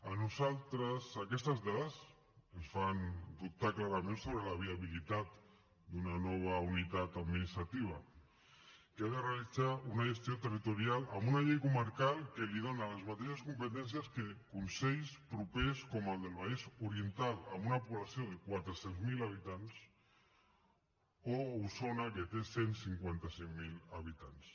a nosaltres aquestes dades ens fan dubtar clarament sobre la viabilitat d’una nova unitat administrativa que ha de realitzar una gestió territorial amb una llei comarcal que li dona les mateixes competències que consells propers com el del vallès oriental amb una població de quatre cents miler habitants o osona que té cent i cinquanta cinc mil habitants